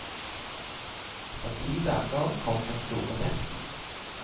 Etter ti dager kom den store testen.